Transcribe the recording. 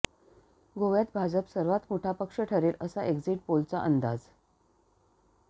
गोव्यात भाजप सर्वात मोठा पक्ष ठरेल असा एक्झिट पोलचा अंदाज